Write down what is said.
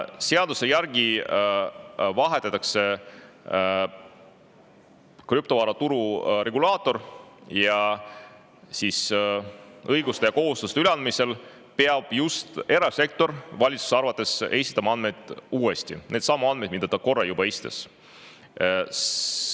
Seaduse järgi krüptovaraturu regulaator vahetatakse ja õiguste ja kohustuste üleandmisel peab just erasektor valitsuse arvates esitama andmed uuesti – needsamad andmed, mis ta korra juba esitas.